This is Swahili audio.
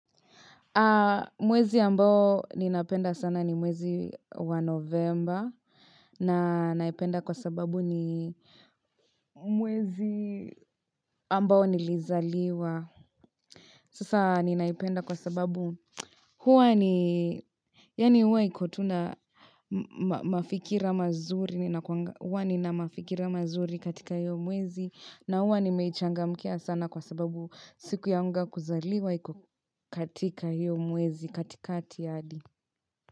Mwezi ambao ninapenda sana ni mwezi wa novemba. Na naipenda kwa sababu ni mwezi ambao nilizaliwa. Sasa ninaipenda kwa sababu huwa ni, yaani huwa iko tu na mafikira mazuri katika hiyo mwezi na huwa nimeichangamkia sana kwa sababu siku yangu ya kuzaliwa iko katika hiyo mwezi katikati hadi.